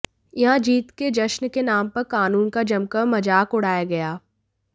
यहां जीत के जश्न के नाम पर कानून का जमकर मजाक उड़ाया गया